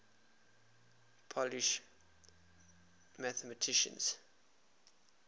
polish mathematicians